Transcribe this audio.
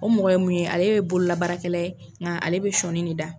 O mɔgɔ ye mun ye ,ale ye bololabaarakɛla ye nka ale bɛ sɔnin de da.